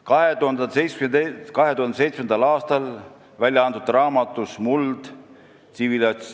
2007. aastal välja antud raamatus "Muld.